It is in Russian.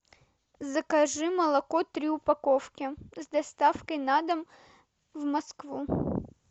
закажи молоко три упаковки с доставкой на дом в москву